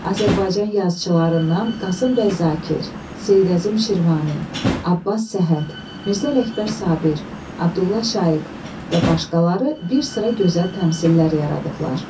Azərbaycan yazıçılarından Qasım bəy Zakir, Seyid Əzim Şirvani, Abbas Səhhət, Mirzə Ələkbər Sabir, Abdulla Şaiq və başqaları bir sıra gözəl təmsillər yaradıblar.